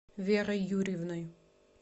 верой юрьевной